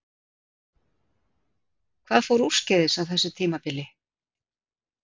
Hvað fór úrskeiðis á síðasta tímabili?